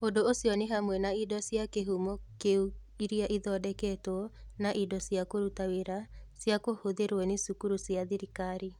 Ũndũ ũcio nĩ hamwe na indo cia kĩhumo kĩu iria ithondeketwo na indo cia kũruta wĩra cia kũhũthĩrũo nĩ cukuru cia thirikari.